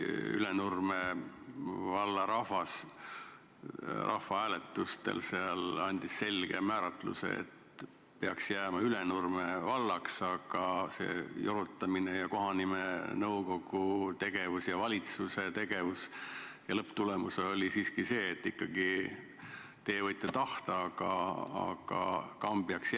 Ülenurme valla rahvas andis rahvahääletusel selgelt teada, et vald peaks jääma Ülenurmeks, aga jorutamise ning kohanimenõukogu ja valitsuse tegevuse lõpptulemus oli siiski see, et inimesed võivad ju tahta, aga vald jääb ikkagi Kambjaks.